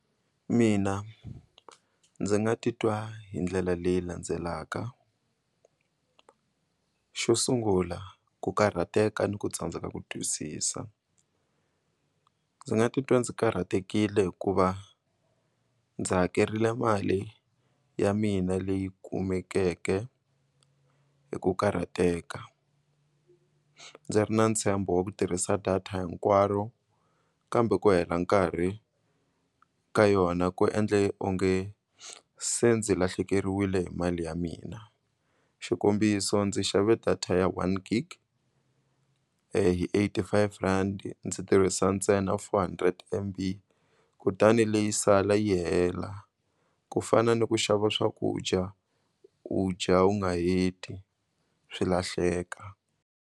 Mina ndzi nga titwa hi ndlela leyi landzelaka xo sungula ku karhateka ni ku tsandzeka ku twisisa ndzi nga titwa ndzi karhatekile hikuva ndzi hakerile mali ya mina leyi kumekeke hi ku karhateka ndzi ri na ntshembo wa ku tirhisa data hinkwaro kambe ku hela nkarhi ka yona ku endle onge se ndzi lahlekeriwile hi mali ya mina xikombiso ndzi xave data ya one gig hi eighty five rand ndzi tirhisa ntsena four hundred M_B kutani leyi sala yi hela ku fana ni ku xava swakudya u dya u nga heti swi lahleka.